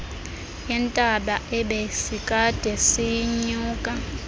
yentaba ebesikade siyinyuka